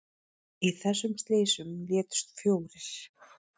Í þessum slysum létust fjórir